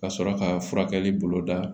Ka sɔrɔ ka furakɛli bolo da